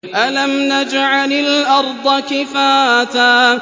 أَلَمْ نَجْعَلِ الْأَرْضَ كِفَاتًا